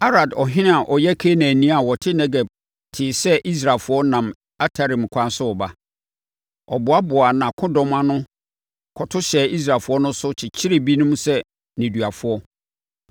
Arad ɔhene a ɔyɛ Kanaanni a ɔte Negeb tee sɛ Israelfoɔ nam Atarim ɛkwan so reba. Ɔboaboaa nʼakodɔm ano kɔto hyɛɛ Israelfoɔ no so kyekyeree binom sɛ nneduafoɔ.